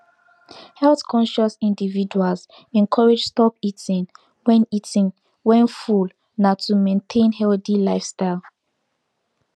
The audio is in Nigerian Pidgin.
healthconscious individuals encouraged stop eating when eating when full nah to maintain healthy lifestyle